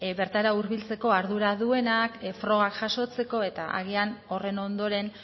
bertara hurbiltzeko ardura duenak frogak jasotzeko eta agian horren ondoren